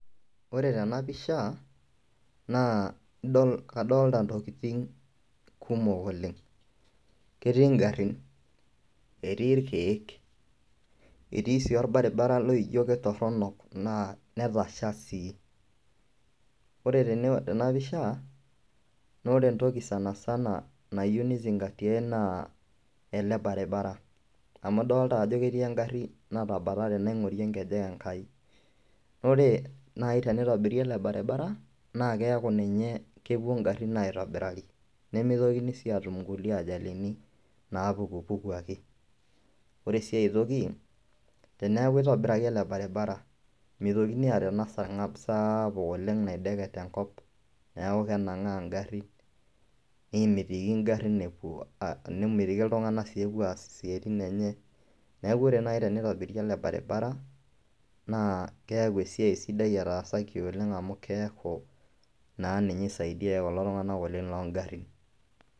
Ore tena pisha naa kadolita ntokitin kumok oleng', ketii ingarrin, etii irkeek, etii sii irbaribarani loijo ketorok naa netasha sii, ore tena pisha naa ore entoki sanisana nayeu neizingatiyai naa le baribara amu idolita ajo ketii engarii natabare tene aing'orie enkejek enkai, naaa ore nai teneitobiri ale bairibara naa keaku ninye lepuo ingarrin aitobirari, nemeitokini si aatum nkule ajalini naapukupuku ake, ore sii aitoki teneaku eitobiraki ale baribara meitokini aata ana sang'ab saapuk oleng naideket enkop, naaku kenang'aa engarri, nemetiki ing'arrin epo, nemetiki ltung'anak sii epuo aas siatin enyee, neaku ore naii teneitobiri ele baribara naa keaku esiai sidai etaasaki oleng' amu keaku ninye keisaidia ninye kulo tung'anak oleng loo ing'rrin.